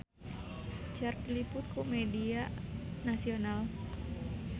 Cher diliput ku media nasional